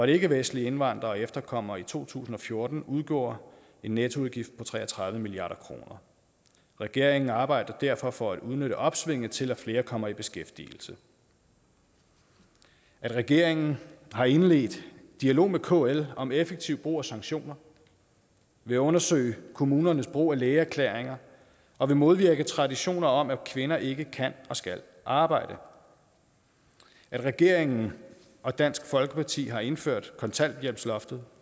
ikkevestlige indvandrere og efterkommere i to tusind og fjorten udgjorde en nettoudgift på tre og tredive milliard kroner regeringen arbejder derfor for at udnytte opsvinget til at flere kommer i beskæftigelse at regeringen har indledt dialog med kl om effektiv brug af sanktioner vil undersøge kommunernes brug af lægeerklæringer og vil modvirke traditioner om at kvinder ikke kan og skal arbejde at regeringen og dansk folkeparti har indført kontanthjælpsloftet